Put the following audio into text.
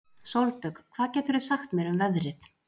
Sóldögg, hvað geturðu sagt mér um veðrið?